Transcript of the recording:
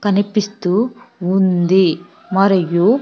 కనిపిస్తూ ఉంది మరియు.